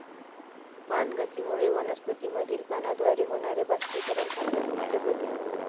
पानगतीमुळे वनस्पतीमधील पानाद्वारे होणारे बाष्पीकरण थांबण्यास मदत होते.